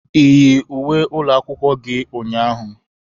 Ị yi uwe ụlọ akwụkwọ gi ụnyaahụ?